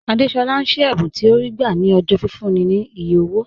Àdésolá ń ṣí ẹ̀bùn tí ó rí gbà ní ọjọ́ fífúnni ní iye owó